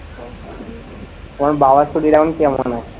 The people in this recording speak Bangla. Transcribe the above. তোমার বাবার শরীর এখন কেমন আছে?